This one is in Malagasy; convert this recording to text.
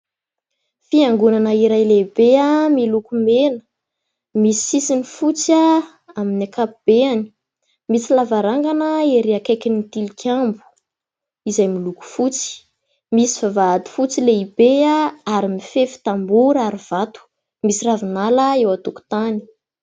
Fiangonana iray lehibe miloko mena, misy sisiny fotsy amin'ny ankapobeny, misy lavarangana ery akaiky ny tilikambo izay miloko fotsy, misy vavahady fotsy lehibe ary mifefy tamboho ary vato misy ravinala eo an-tokotany.